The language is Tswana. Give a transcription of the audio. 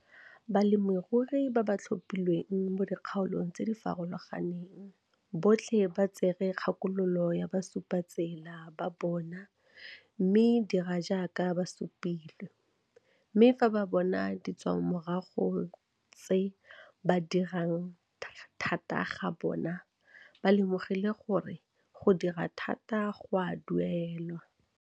Balemirui ba ba batlhophilweng mo dikgaolong tse di farologaneng botlhe ba tsere kgakololo ya basupatsela ba bona mme dira jaaka ba supilwe, mme fa ba bona ditswamorago tsa go dira thata ga bona, ba lemogile gore go dira thata go a duelwa.